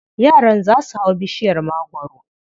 Yaran za su hau bishiyar magwaro.